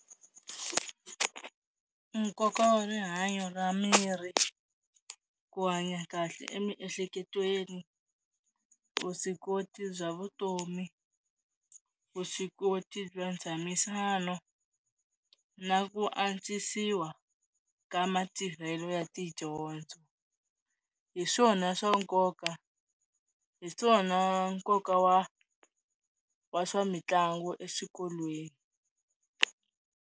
Nkoka wa rihanyo ra miri ku hanya kahle emiehleketweni, vuswikoti bya vutomi, vuswikoti bya ntshamisano na ku antswisiwa ka matirhelo ya tidyondzo, hi swona swa nkoka, hi swona nkoka wa wa swa mitlangu eswikolweni.